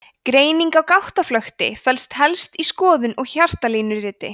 greining á gáttaflökti felst helst í skoðun og hjartalínuriti